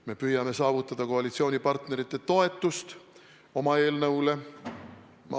Me püüame saavutada koalitsioonipartnerite toetust oma eelnõule.